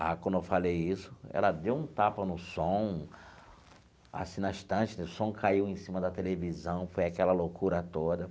Ah, quando eu falei isso, ela deu um tapa no som, assim, na estante né, o som caiu em cima da televisão, foi aquela loucura toda.